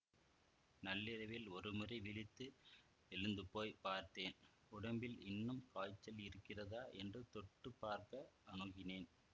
நள்ளிரவில் ஒருமுறை விழித்து எழுந்துபோய்ப் பார்த்தேன் உடம்பில் இன்னும் காய்ச்சல் இருக்கிறதா என்று தொட்டு பார்க்க அணுகினேன்